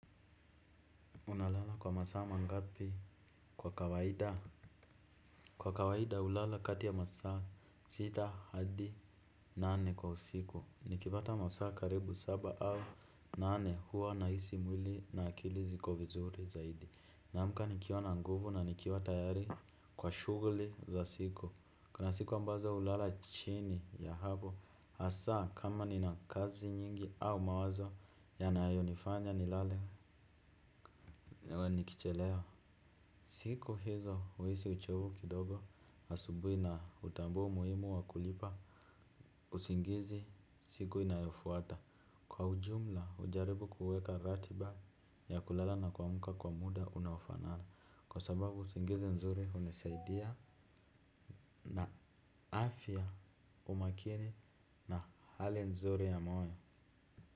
Unalala kwa masa mangapi kwa kawahida? Kwa kawahida ulala kati ya masa masita hadi nane kwa usiku. Nikipata masama karibu saba au nane huwa naisi mwili na akili ziko vizuri zaidi. Namka nikiwa na nguvu na nikiwa na tayari kwa shuguli za siku. Kuna siku ambazo ulala chini ya hapo. Asa kama nina kazi nyingi au mawazo yanayo nifanya nilale niwe nikicheleo. Siku hizo uisi uchovu kidogo, asubui na utambua muhimu wa kulipa, usingizi siku inayofuata. Kwa ujumla, ujaribu kuweka ratiba ya kulala na kwamuka kwa muda unaofanana. Kwa sababu, usingizi nzuri unesaidia na afya umakini na hali nzuri ya moyo.